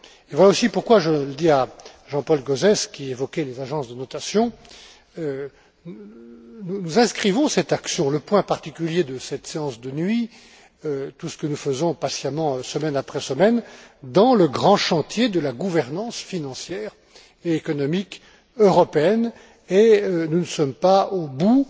Voilà pourquoi, je le dis aussi à Jean Paul Gauzès qui évoquait les agences de notation, nous inscrivons cette action, le point particulier de cette séance de nuit, tout ce que nous faisons patiemment semaine après semaine, dans le grand chantier de la gouvernance financière et économique européenne, et nous ne sommes pas au bout